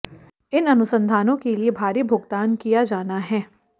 इन अनुसंधानों के लिए भारी भुगतान किया जाना है